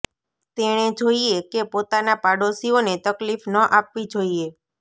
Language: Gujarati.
તેણે જોઈએ કે પોતાના પાડોશીઓને તકલીફ ન આપવી જોઈએ